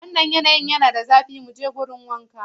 Wannan yanayin yana da zafi, mu je wurin wanka.